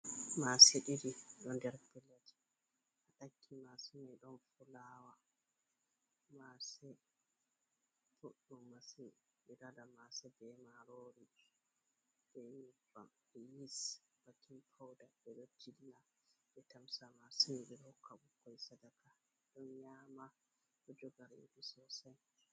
Mase ɗiɗi ɗo nder pilet ha ɗakki mase mai ɗon fulawa. Mase boɗɗum masin, ɓe ɗo waɗa mase be marori, be nyebbam, be yis, be bekin pawda. Ɓe ɗo jilla ɓe tamsa mase mai ɓe hokka ɓukkoi sadaka ɗo nyama ɗo joga redu sosai.